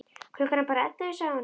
Klukkan er bara ellefu, sagði hún.